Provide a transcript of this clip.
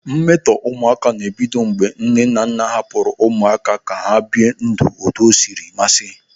Mmetọ ụmụaka na-ebido mgbe nne na nna hapụrụ ụmụaka ka ha bie ndụ otu osiri mmasị.